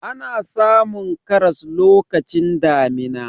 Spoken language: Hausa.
ana samun karas lokacin damina